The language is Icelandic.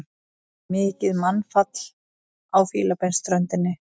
Mikið mannfall á Fílabeinsströndinni